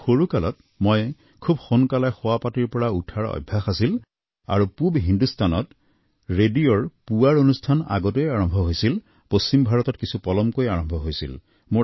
কিন্তু সৰুকালত মোৰ খুব সোনকালে শোৱাপাটীৰ পৰা শুই উঠাৰ অভ্যাস আছিল আৰু পূব হিন্দুস্তানত ৰেডিঅৰ পুৱাৰ অনুষ্ঠান আগতে আৰম্ভ হৈছিল আৰু পশ্চিম ভাৰতত কিছু পলমকৈ আৰম্ভ হৈছিল